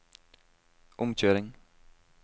omkjøring